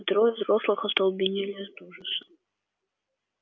а трое взрослых остолбенели от ужаса